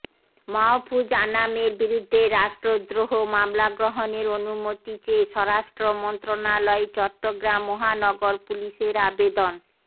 মাহফুজ আনামের বিরুদ্ধে রাষ্ট্রদ্রোহ মামলা গ্রহণের অনুমতি চেয়ে স্বরাষ্ট্র মন্ত্রণালয়ে চট্টগ্রাম মহানগর পুলিশের আবেদন